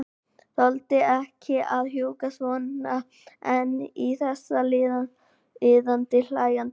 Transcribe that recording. Þoldi ekki að húka svona ein í þessu iðandi, hlæjandi hafi.